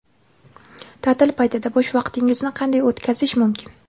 Ta’til paytida bo‘sh vaqtingizni qanday o‘tkazish mumkin?.